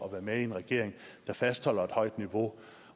at være med i en regering der fastholder et højt niveau